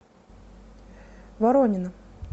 воронина